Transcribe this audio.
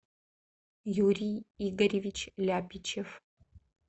юрий игоревич ляпичев